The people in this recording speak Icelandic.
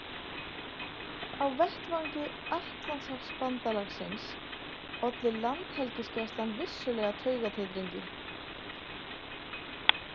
Á vettvangi Atlantshafsbandalagsins olli landhelgisgæslan vissulega taugatitringi.